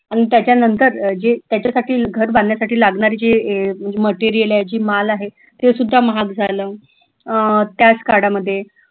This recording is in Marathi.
अन त्यांच्यानंतर जे त्याच्यासाठी घर बांधण्यासाठी लागणारे जे material आहे जो माल आहे ते सुद्धा महाग झालं अह त्याच काळामध्ये